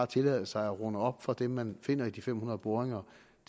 tillade sig at runde op fra det tal man finder i de fem hundrede boringer